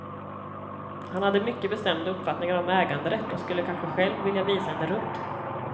Han hade mycket bestämda uppfattningar om äganderätt och skulle kanske själv vilja visa henne runt.